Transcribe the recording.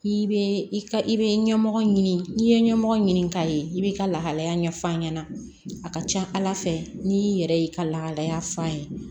I bɛ i ka i be ɲɛmɔgɔ ɲini n'i ye ɲɛmɔgɔ ɲini k'a ye i b'i ka lahalaya ɲɛf'a ɲɛna a ka ca ala fɛ n'i yɛrɛ y'i ka lahalaya f'a ye